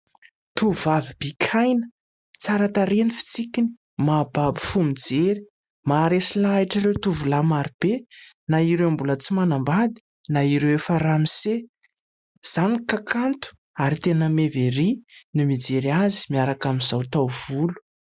Tovovavy bikaina, tsara tarehy ny fitsikiny, mahababo fo mijery. Maharesy lahatra ireo tovolahy marobe na ireo mbola tsy manambady na ireo efa ramose. Izany ka kanto ary tena meva ery no mijery azy miaraka amin'izao taovolo.